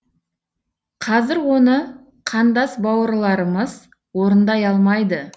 қазір оны қандас бауырларымыз орындай алмайды